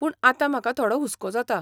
पूण आतां म्हाका थोडो हुस्को जाता.